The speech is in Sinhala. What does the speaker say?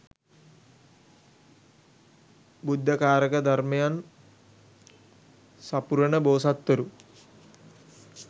බුද්ධ කාරක ධර්මයන් සපුරන බෝසත්වරු